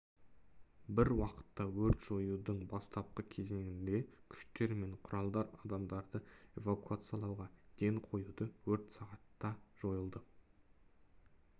бір уақытта өрт жоюдың бастапқы кезеңінде күштер мен құралдар адамдарды эвакуациялауға ден қойды өрт сағатта жойылды